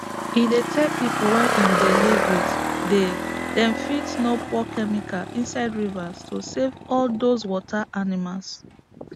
he dey tell pipu wey him dey live with day dem fit no pour chemical inside rivers to safe all dose water animals